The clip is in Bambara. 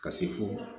Ka se fo